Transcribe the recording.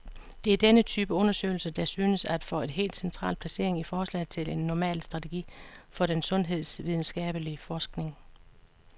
Det er denne type undersøgelser, der synes at få et helt central placering i forslaget til en normal strategi for den sundhedsvidenskabelig forskning.